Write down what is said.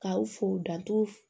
K'aw fo danturu